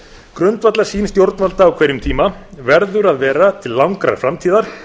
grundvallarsýn stjórnvalda á hverjum tíma verður að vera til langrar framtíðar